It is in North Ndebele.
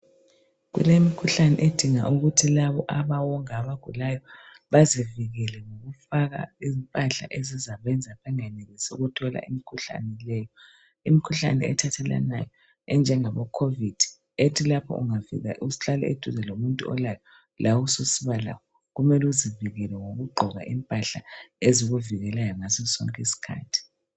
Kulemikhuhlane edinga ukuthi labo abawonga abagulayo bazivikele ngokufaka impahla ezakwenza bangenelisi ukuthola umkhuhlane leyo. Imikhuhlane ethathelanayo enjengabo-covid, ethi lapho ungavelafika uhlale eduzane lomuntuolayo, lawe susiba lawo, Kumele uzivikele ngokugqoka impahla ezikuvikelayo ngasosonke iskhathi.